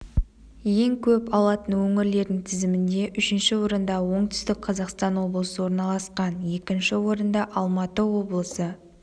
ең көп алатын өңірлердің тізімінде үшінші орында оңтүстік қазақстан облысы орналасқан екінші орында алматы облысы